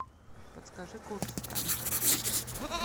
подскажи курс франка